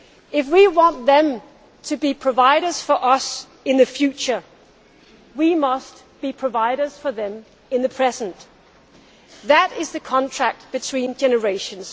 If we want them to be providers for us in the future, we must be providers for them in the present. That is the contract between generations.